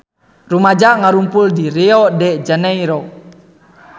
Rumaja ngarumpul di Rio de Janairo